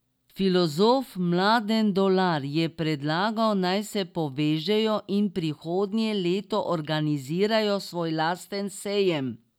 Filozof Mladen Dolar je predlagal, naj se povežejo in prihodnje leto organizirajo svoj lasten sejem.